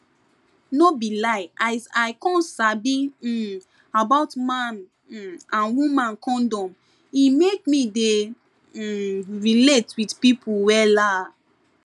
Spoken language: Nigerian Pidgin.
no be lie as i come sabi um about man um and woman condom e make me dey um realte with pipu wella